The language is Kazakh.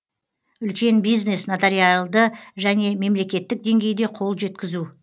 үлкен бизнес нотариалды және мемлекеттік деңгейде қол жеткізу